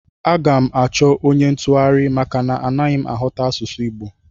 Aga m achọ onye ntụgharị maka na anaghị m aghọta asụsụ Igbo